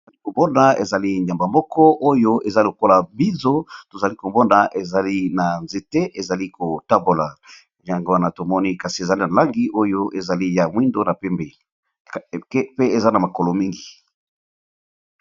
ombona ezali nyamba moko oyo eza lokola bizo tozali kobonda ezali na nzete ezali kotambola lyango wana tomoni kasi ezali na langi oyo ezali ya mwindo pe eza na makolo mingi